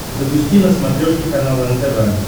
запусти на смотрешке канал нтв